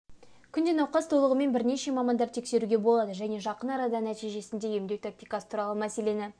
күнде науқас толығымен бірнеше мамандар тексеруге болады және жақын арада нәтижесінде емдеу тактикасы туралы мәселені